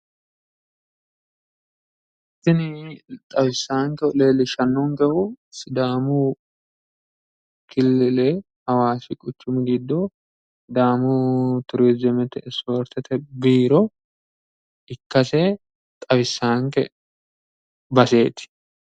tini xawissaankehu leellishshaankehu sidaamu killile hawaasi quchumi giddo sidaamu turizimete ispoortete biiro ikkase xawissaanke baseeti.